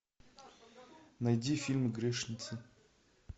найди фильм грешница